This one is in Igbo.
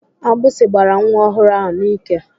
Agbịsị gbara nwa ọhụrụ ahụ n'ike.